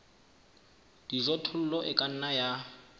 dijothollo e ka nna ya